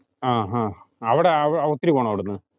ആഹ് അവിടെ ഒത്തിരി പോണോ അവിടുന്ന്?